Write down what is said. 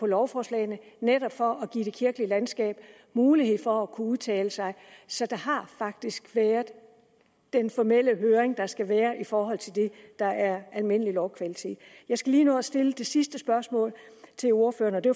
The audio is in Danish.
lovforslagene netop for at give det kirkelige landskab mulighed for at kunne udtale sig så der har faktisk været den formelle høring der skal være i forhold til det der er almindelig lovkvalitet jeg skal lige nå at stille det sidste spørgsmål til ordføreren og det